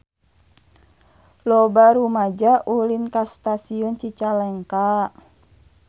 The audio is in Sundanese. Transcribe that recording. Loba rumaja ulin ka Stasiun Cicalengka